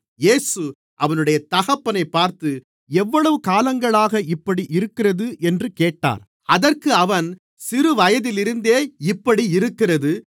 இயேசு அவனுடைய தகப்பனைப் பார்த்து எவ்வளவு காலங்களாக இப்படி இருக்கிறது என்று கேட்டார் அதற்கு அவன் சிறுவயதிலிருந்தே இப்படி இருக்கிறது